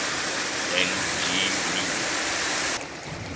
n g rjuna